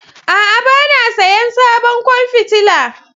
A'a, ba na sayen sabon kwan fitila